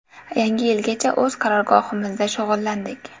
Yangi yilgacha o‘z qarorgohimizda shug‘ullandik.